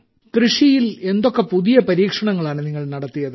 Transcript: കൃഷിയിൽ എന്തൊക്കെ പുതിയ പരീക്ഷണങ്ങളാണ് നിങ്ങൾ നടത്തിയത്